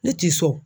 Ne t'i so